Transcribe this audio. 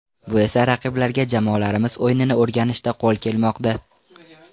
Bu esa raqiblarga jamoalarimiz o‘yinini o‘rganishda qo‘l kelmoqda.